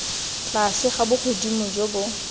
tlase ga bogodimo jo bo